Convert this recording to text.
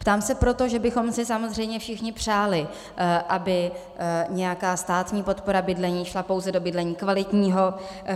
Ptám se proto, že bychom si samozřejmě všichni přáli, aby nějaká státní podpora bydlení šla pouze do bydlení kvalitního.